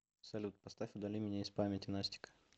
салют поставь удали меня из памяти настика